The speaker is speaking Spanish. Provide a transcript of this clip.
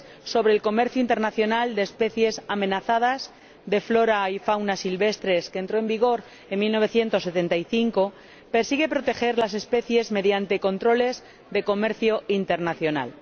sobre el Comercio Internacional de Especies Amenazadas de Fauna y Flora Silvestres, que entró en vigor en 1975, persigue proteger las especies mediante controles de comercio internacional.